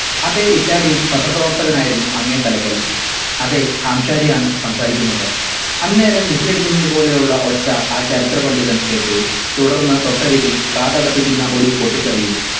അതെ italian പത്രപ്രവർത്തകനായിരുന്നു അങ്ങേ തലക്കൽ അതെ ഹാംശാരി ആണ് സംസാരിക്കുന്നത്. അന്നേരം vissle അടിക്കുന്നത് പോലെയുള്ള ഒച്ച ആ ചരിത്ര പണ്ഡിതൻ കേട്ടു. തുടർന്ന് തൊട്ടരികിൽ കാതടപ്പിക്കുന്ന ഒരു പൊട്ടിത്തെറിയും.